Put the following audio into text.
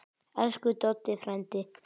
Elsku Doddi frændi.